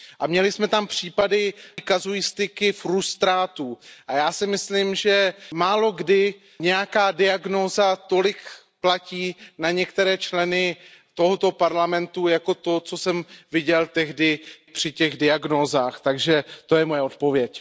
A měli jsme tam případy kazuistiky frustrátů a já si myslím, že málokdy nějaká diagnóza tolik platí na některé členy tohoto Parlamentu jako to, co jsem viděl tehdy při těch diagnózách, takže to je moje odpověď.